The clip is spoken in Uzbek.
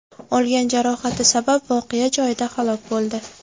olgan jarohati sabab voqea joyida halok bo‘ldi.